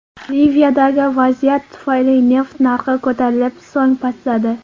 Liviyadagi vaziyat tufayli neft narxi ko‘tarilib, so‘ng pastladi .